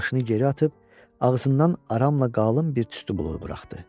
Başını geri atıb, ağzından aramla qalın bir tüstü buludu buraxdı.